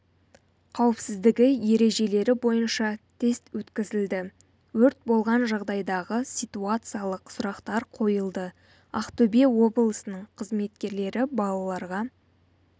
қауіпсіздігі ережелері бойынша тест өткізілді өрт болған жағдайдағы ситуациялық сұрақтар қойылды ақтөбе облысының қызметкерлері балаларға